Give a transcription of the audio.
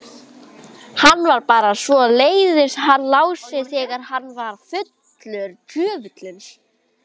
Hann var bara svoleiðis hann Lási þegar hann var fullur.